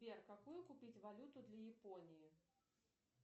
сбер какую купить валюту для японии